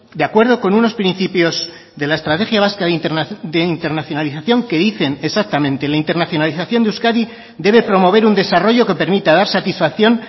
de acuerdo con unos principios de la estrategia vasca de internacionalización que dicen exactamente la internacionalización de euskadi debe promover un desarrollo que permita dar satisfacción